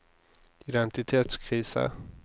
identitetskrise